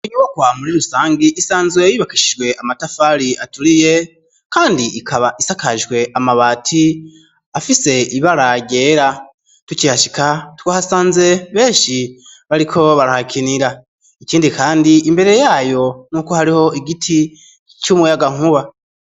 Inyubakwa muri rusangi isanzwe yubakishijwe amatafari aturiye kandi ikaba isakajwe amabati afise ibara ryera tukihashika twahasanze beshi bariko barahakinira ikindi kandi imbere yayo nkuko hariho igiti c'umuyaga nkuba